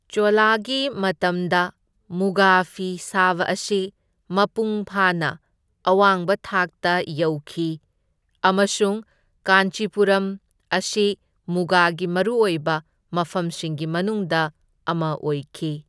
ꯆꯣꯂꯥꯒꯤ ꯃꯇꯝꯗ ꯃꯨꯒꯥ ꯐꯤ ꯁꯥꯕ ꯑꯁꯤ ꯃꯄꯨꯡ ꯐꯥꯅ ꯑꯋꯥꯡꯕ ꯊꯥꯛꯇ ꯌꯧꯈꯤ ꯑꯃꯁꯨꯡ ꯀꯥꯟꯆꯤꯄꯨꯔꯝ ꯑꯁꯤ ꯃꯨꯒꯥꯒꯤ ꯃꯔꯨꯑꯣꯏꯕ ꯃꯐꯝꯁꯤꯡꯒꯤ ꯃꯅꯨꯡꯗ ꯑꯃ ꯑꯣꯏꯈꯤ꯫